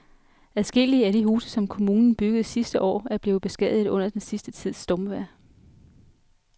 Adskillige af de huse, som kommunen byggede sidste år, er blevet beskadiget under den sidste tids stormvejr.